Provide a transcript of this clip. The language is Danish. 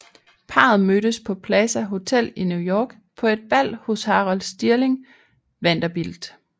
Parret mødtes på Plaza Hotel i New York på et bal hos Harold Stirling Vanderbilt